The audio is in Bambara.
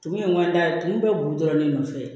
Tumu in kɔni da tumu bɛ boli dɔrɔn ne nɔfɛ